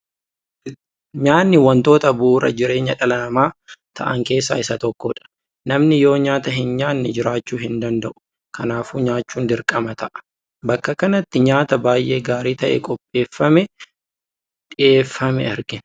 Nyaatni wantoota bu'uura jireenya dhala namaa ta'an keessaa isa tokkodha. Namni yoo nyaata hin nyaanne jiraachuu hin danda’u. Kanaafuu nyaachuun dirqama ta'a. Bakka kanatti nyaata baay'ee gaarii ta'e qopheeffamee dhiyeeffame argina.